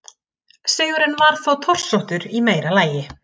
Sigurinn var þó torsóttur í meira lagi.